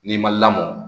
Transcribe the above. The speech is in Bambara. N'i ma lamɔ